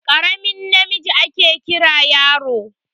Karamin namiji ake Kiran yaro.